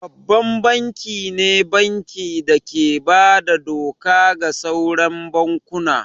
Babban banki ne banki da ke bada doka ga sauran bankuna